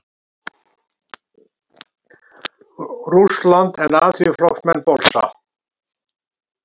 Rússland, en Alþýðuflokksmenn bolsa.